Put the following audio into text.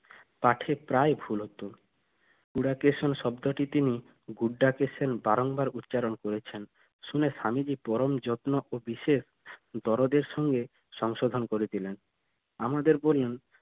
পাঠের প্রায় ভুল হতো oracation শব্দটি তিনি uddacation বারংবার উচ্চারণ করেছেন শুনে স্বামীজি পরম যত্ন ও বিশেষ দরদের সঙ্গে সংশোধন করে দিলেন আমাদের বললেন